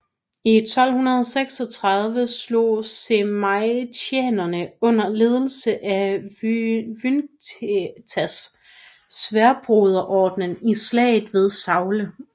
I 1236 slog žemaitijanerne under ledelse af Vykintas Sværdbroderordenen i slaget ved Saule